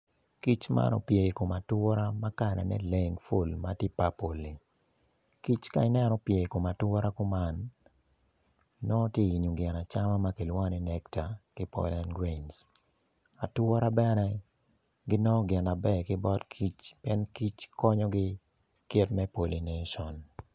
Kic man opye ikom atura ma kalane leng ful matye papol-li kic ka inen opye ikom atura kuman nongo tye ka yenyo gin acama ma kilwongo ni necta ki pollen grains atura bene ginongo gin maber ki bot kic en kic konyogi kit me pollination